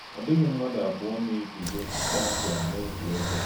Ọdị̀ghì̄ ḿmádụ̣ ábụ̀ọ̀ na - ègùzò̄ kpọmkwem̄ n’òtú̄ èbè̄.